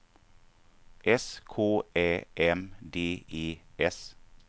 S K Ä M D E S